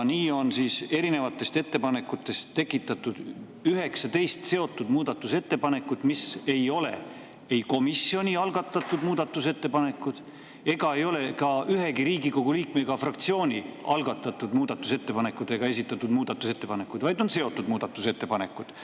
Nii on erinevatest ettepanekutest tekitatud 19 seotud muudatusettepanekut, mis ei ole ei komisjoni algatatud muudatusettepanekud ega ole ka ühegi Riigikogu liikme ega fraktsiooni algatatud ega esitatud muudatusettepanekud, vaid on seotud muudatusettepanekud.